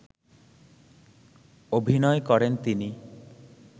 অভিনয় করেন তিনি